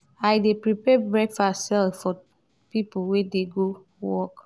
i dey prepare breakfast sell for pipo wey dey go work.